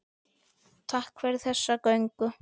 Takk fyrir þessa göngu.